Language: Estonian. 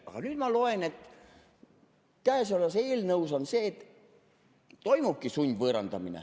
Aga nüüd ma loen, et käesolevas eelnõus on see, et toimubki sundvõõrandamine.